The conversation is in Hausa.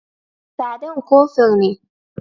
Sadam kofur ne.